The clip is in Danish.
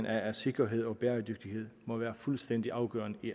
af at sikkerhed og bæredygtighed må være fuldstændig afgørende i